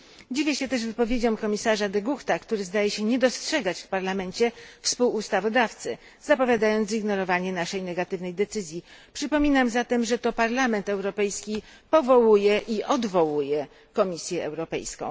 Dziwię się też wypowiedziom komisarza De Guchta, który zdaje się nie dostrzegać w parlamencie współustawodawcy, zapowiadając zignorowanie naszej negatywnej decyzji. Przypominam zatem, że to Parlament Europejski powołuje i odwołuje Komisję Europejską.